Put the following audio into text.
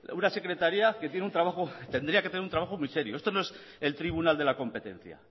una secretaría que tiene un trabajo tendría que tener un trabajo muy serio esto no es el tribunal de la competencia